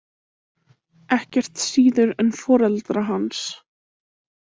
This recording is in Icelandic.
Ekkert síður en foreldra hans.